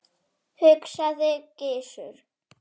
hugsaði Gizur.